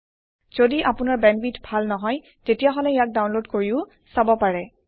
যদি আপোনাৰ বেণ্ডৱিডথ ভাল নহয় তেতিয়াহলে ইয়াক ডাওনলোদ কৰিও চাব পাৰে